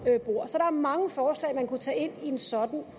bor så der er mange forslag man kunne tage ind i en sådan